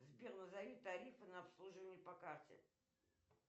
сбер назови тарифы на обслуживание по карте